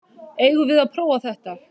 Eigum við að prófa þetta?